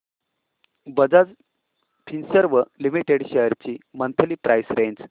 Bajaj Finserv limited shares ची monthly price range